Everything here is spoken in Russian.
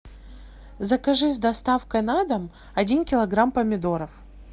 закажи с доставкой на дом один килограмм помидоров